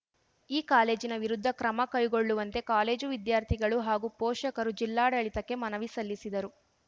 ಈ ಕಾಲೇಜಿನ ವಿರುದ್ಧ ಕ್ರಮ ಕೈಗೊಳ್ಳುವಂತೆ ಕಾಲೇಜು ವಿದ್ಯಾರ್ಥಿಗಳು ಹಾಗೂ ಪೋಷಕರು ಜಿಲ್ಲಾಡಳಿತಕ್ಕೆ ಮನವಿ ಸಲ್ಲಿಸಿದರು